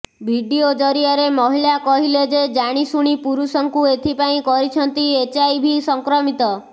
video ଜରିଆରେ ମହିଳା କହିଲେ ସେ ଜାଣିଶୁଣି ପୁରୁଷଙ୍କୁ ଏଥିପାଇଁ କରିଛନ୍ତି ଏଚଆଇଭି ସଂକ୍ରମିତ